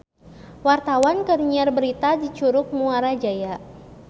Wartawan keur nyiar berita di Curug Muara Jaya